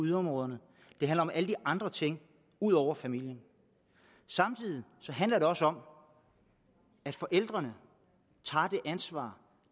yderområderne det handler om alle de andre ting ud over familien samtidig handler det også om at forældrene tager det ansvar